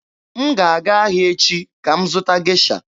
M ga-aga ahịa echi ka m zụta Gesha.